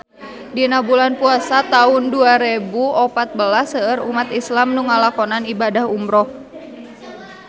Dina bulan Puasa taun dua rebu opat belas seueur umat islam nu ngalakonan ibadah umrah